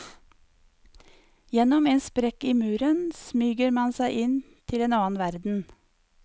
Gjennom en sprekk i muren smyger man seg inn til en annen verden.